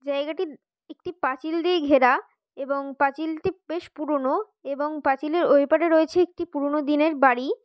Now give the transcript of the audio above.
জায়গাটি একটি পাঁচিল দিয়ে ঘেরা এবং পাঁচিলটি বেশ পুরানো এবং পাঁচিলের ওই পারে রয়েছে একটি পুরোনো দিনের বাড়ি।